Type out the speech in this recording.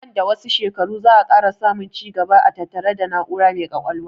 Nan da wasu shekaru za 'a ƙara samun ci gaba a tattare da na'ura mai ƙwaƙwalwa